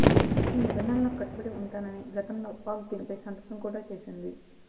ఈ నిబంధనలకు కట్టుబడి ఉంటానని గతంలో పాక్ దీనిపై సంతకం కూడా చేసింది